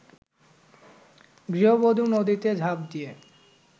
গৃহবধূ নদীতে ঝাঁপ দিয়ে